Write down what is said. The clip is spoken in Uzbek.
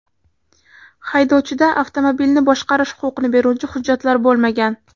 Haydovchida avtomobilni boshqarish huquqini beruvchi hujjatlar bo‘lmagan.